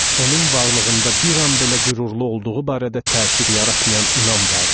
Onun varlığında bir an belə qürurlu olduğu barədə təsir yaratmayan inam vardı.